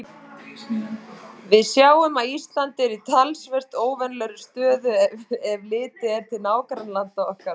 Við sjáum að Ísland er í talsvert óvenjulegri stöðu, ef litið er til nágrannalanda okkar.